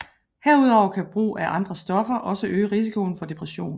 Herudover kan brug af andre stoffer også øge risikoen for depression